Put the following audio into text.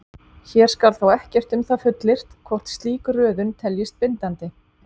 Hér skal þó ekkert um það fullyrt hvort slík röðun teljist bindandi.